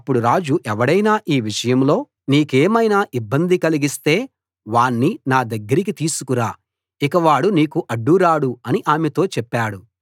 రాజు ఎవడైనా ఈ విషయంలో నీకేమైనా ఇబ్బంది కలిగిస్తే వాణ్ణి నా దగ్గరికి తీసుకురా ఇక వాడు నీకు అడ్డు రాడు అని ఆమెతో చెప్పాడు